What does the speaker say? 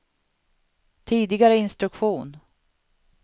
tidigare instruktion